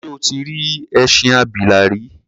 Ṣé o tí rí ẹṣin abìlà rí?